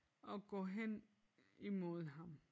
Og går hen imod ham